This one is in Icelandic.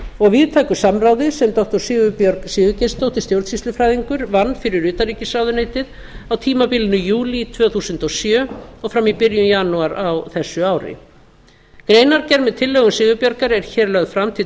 og víðtæku samráði sem doktor sigurbjörg sigurgeirsdóttir stjórnsýslufræðingur vann fyrir utanríkisráðuneytið á tímabilinu júlí tvö þúsund og sjö og fram í byrjun janúar á þessu ári greinargerð með tillögum sigurbjargar er hér lögð fram til